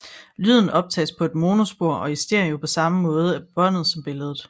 Lyden optages på et monospor og i stereo på samme område af båndet som billedet